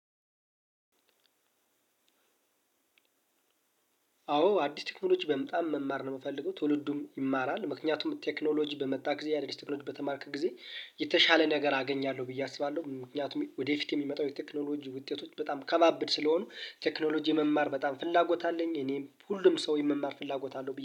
አዎ አዲስ ቴክኖሎጂ በምጣም መማር ነው የምፈልገው። ትውልዱም ይማራል ምክንያቱም ቴክኖሎጂ በመጣ ጊዜ የአዲስ ቴክኖሎጂ በተማርክ ጊዜ የተሻለ ነገር አገኛለሁ ብዬ አስባለሁ። ምክንያቱም ወደፊት የሚመጣው የቴክኖሎጂ ውጤቶች በጣም ከባብድ ስለሆኑ ቴክኖሎጂ የመማር በጣም ፍላጎት አለኝ። እኔም ሁሉም ሰው የመማር ፍላጎት አለው